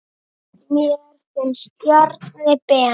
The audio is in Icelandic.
Mér finnst Bjarni Ben.